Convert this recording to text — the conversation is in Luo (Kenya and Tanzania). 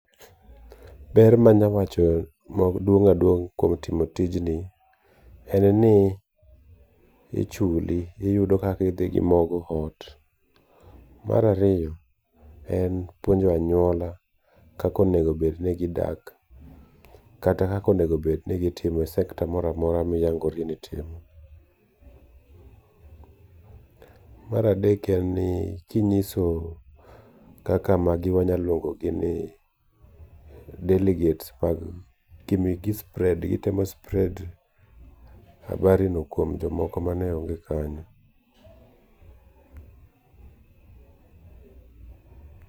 Ber manya wacho maduong' kuom timo tijni, en ni ichuli, iyudo kaka idhi go mogo ot, mar ariyo en puonjo anyuola kaka onego bed ni gidak, kata kaka onego bed ni gitimo e sector moramora ma iyangori ni itimo, mar adek en ni kinyiso, kaka magi wanyalo luongó gi ni delegates mag gi spread gitemo spread habari no kuom jomoko mane onge kanyo.